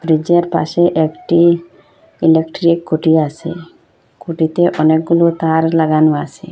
Bridge এর পাশে একটি ইলেকট্রিক খুঁটি আসে খুঁটিতে অনেকগুলো তার লাগানো আসে।